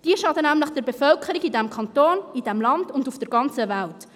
Diese schaden nämlich der Bevölkerung in diesem Kanton, in diesem Land und auf der ganzen Welt.